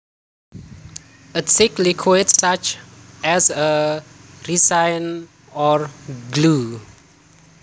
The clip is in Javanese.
A thick liquid such as a resin or glue